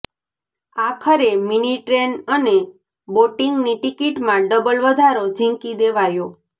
આખરે મિનીટ્રેન અને બોટિંગની ટિકિટમાં ડબલ વધારો ઝીંકી દેવાયો